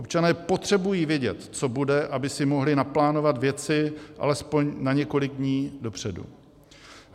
Občané potřebují vědět, co bude, aby si mohli naplánovat věci alespoň na několik dní dopředu.